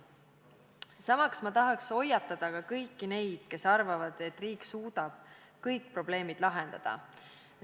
Samas tahaks ma hoiatada kõiki neid, kes arvavad, et riik suudab kõik probleemid lahendada.